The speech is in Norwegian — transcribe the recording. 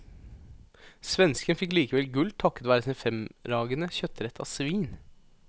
Svensken fikk likevel gull takket være sin fremragende kjøttrett av svin.